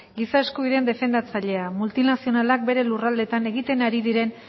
giza eskubideen defendatzailea multinazionalak bere lurraldeetan egiten ari diren